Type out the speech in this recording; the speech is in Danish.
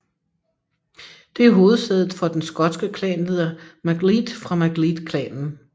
Det er hovedsædet for den skotske klanleder MacLead fra Macleadklanen